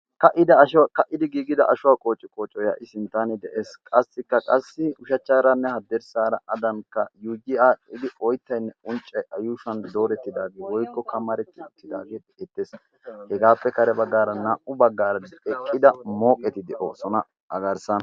ka''idi giigida ashuwaa qooci kooco yaa''i sinttaane de'ees qassikka qassi ushachchaaranne hadderssaara adanikka yuuyi aadhdhidi oyttaynne unccay a yuushuwan doorettidaagee doykko kamaretti uttidaagee ettees hegaappe kare baggaara naa''u baggaara eqqida mooqeti de'oosona a gaarssan